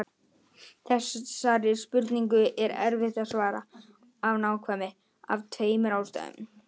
Þessari spurningu er erfitt að svara af nákvæmni af tveimur ástæðum.